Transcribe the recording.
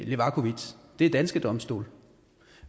levakovic det er danske domstole